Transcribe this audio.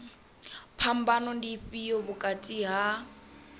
phambano ndi ifhio vhukati ha